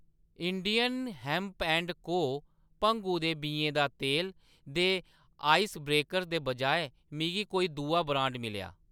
India hemp and co भंगु दे बीएं दा तेल दे आइस ब्रेकर्स दे बजाए मिगी कोई दूआ ब्रांड मिलेआ।